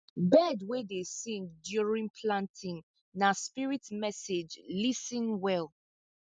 bird wey dey sing during planting na spirit message lis ten well